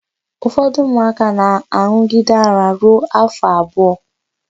Ụfọdụ ụmụaka na-an̄ụgide ara ruo áfọ̀ abụọ.